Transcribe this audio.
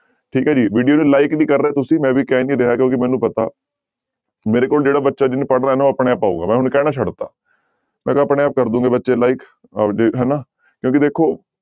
ਠੀਕ ਹੈ ਜੀ video ਨੂੰ like ਨੀ ਕਰ ਰਹੇ ਤੁਸੀਂ ਮੈਂ ਵੀ ਕਹਿ ਨੀ ਰਿਹਾ ਕਿਉਂਕਿ ਮੈਨੂੰ ਪਤਾ ਮੇਰੇ ਕੋਲ ਜਿਹੜਾ ਬੱਚਾ ਜਿਹਨੇ ਪੜ੍ਹਨਾ ਨਾ ਉਹ ਆਪਣੇ ਆਪ ਆਊਗਾ, ਮੈਂ ਹੁਣ ਕਹਿਣਾ ਛੱਡ ਦਿੱਤਾ, ਮੈਂ ਕਿਹਾ ਆਪਣੇ ਆਪ ਕਰ ਦਓਗੇ ਬੱਚੇ like ਆਪਦੇ ਹਨਾ ਕਿਉਂਕਿ ਦੇਖੋ